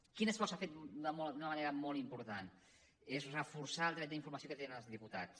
quin esforç s’ha fet d’una manera molt important és reforçar el dret d’informació que tenen els diputats